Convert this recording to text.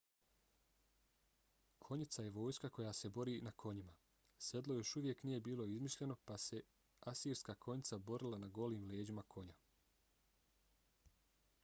konjica je vojska koja se bori na konjima. sedlo još uvijek nije bilo izmišljeno pa se asirska konjica borila na golim leđima konja